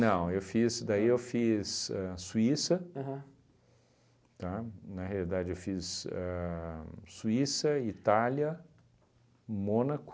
eu fiz, daí eu fiz ahn Suíça, tá, na realidade eu fiz a Suíça, Itália, Mônaco.